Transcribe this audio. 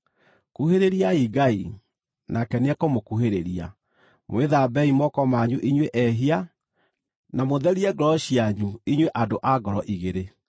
Kuhĩrĩriai Ngai, nake nĩekũmũkuhĩrĩria. Mwĩthambei moko manyu inyuĩ ehia, na mũtherie ngoro cianyu inyuĩ andũ a ngoro igĩrĩ.